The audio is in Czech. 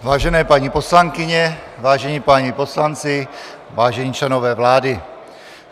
Vážené paní poslankyně, vážení páni poslanci, vážení členové vlády.